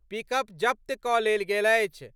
Pickup जब्त क' लेल गेल अछि।